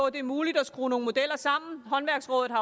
at det er muligt at skrue nogle modeller sammen håndværksrådet har